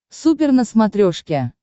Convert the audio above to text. супер на смотрешке